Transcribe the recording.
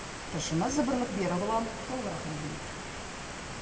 тілшіміз бірлік берікұлы толығырақ әңгімелейді